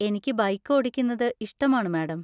എനിക്ക് ബൈക്ക് ഓടിക്കുന്നത് ഇഷ്ടമാണ്, മാഡം.